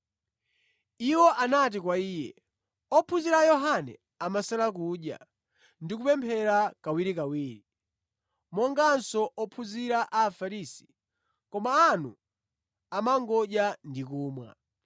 Iwo anati kwa Iye, “Ophunzira a Yohane amasala kudya ndi kupemphera kawirikawiri, monganso ophunzira a Afarisi, koma anu amangodya ndi kumwa.”